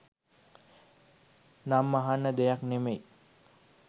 නම් අහන්න දෙයක් නෙමෙයි.